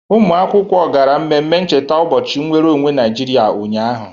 Ụmụ akwụkwọ gara mmemme ncheta ụbọchị nwere onwe Naịjiriịa ụnyaahụ.